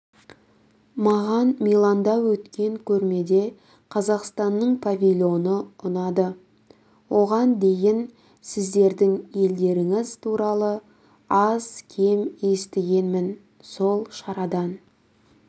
маған миланда өткен көрмеде қазақстанның павильоны ұнады оған дейін сіздердің елдеріңіз туралы аз-кем естігенмін сол шарадан